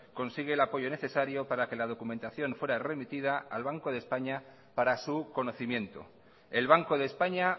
consigue el apoyo necesario para que la documentación fuera remitida al banco de españa para su conocimiento el banco de españa